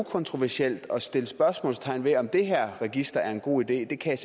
kontroversielt at sætte spørgsmålstegn ved om det her register er en god ide kan